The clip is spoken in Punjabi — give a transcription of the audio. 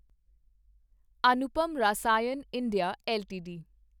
Anupam Rasayan India LTD